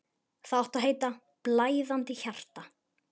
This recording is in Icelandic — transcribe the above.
Það átti að heita: Blæðandi hjarta.